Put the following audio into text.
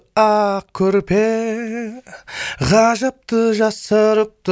ақ көрпе ғажапты жасырыпты